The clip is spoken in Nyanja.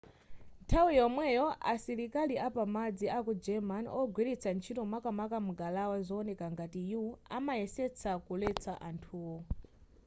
nthawi yomweyo asilikali apamadzi aku germany ogwiritsa ntchito makamaka ngalawa zowoneka ngati u amayesetsa kuletsa anthuwo